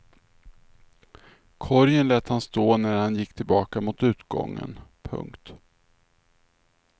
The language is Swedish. Korgen lät han stå när han gick tillbaka mot utgången. punkt